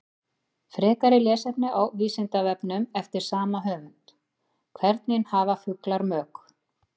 Frekara lesefni á Vísindavefnum eftir sama höfund: Hvernig hafa fuglar mök?